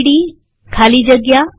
સીડી ખાલી જગ્યા